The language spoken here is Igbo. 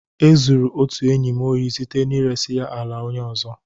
E zuru otu enyi m ori site na iresa ya ala onye ọzọ.